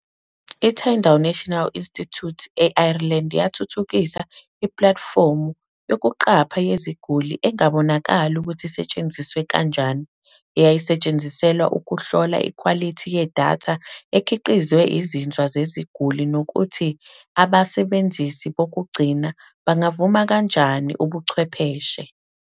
I-Tyndall National Institute e-Ireland yathuthukisa ipulatifomu "yokuqapha yeziguli engabonakali ukuthi isetshenziswe kanjani" eyayisetshenziselwa ukuhlola ikhwalithi yedatha ekhiqizwe izinzwa zeziguli nokuthi abasebenzisi bokugcina bangavuma kanjani ubuchwepheshe.